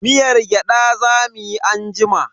Miyar gyada za mu yi anjima.